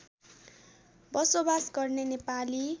बसोवास गर्ने नेपाली